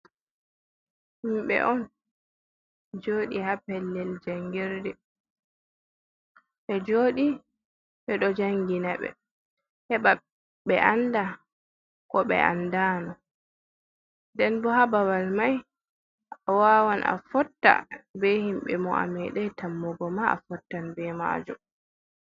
Himɓe on joɗi ha pellel jangirde ɓe jodi ɓe ɗo jangina ɓe heba ɓe anda ko ɓe andano nden bo ha babal mai a wawan a fotta be himɓe mo a medei tammugo ma a fottan be mako.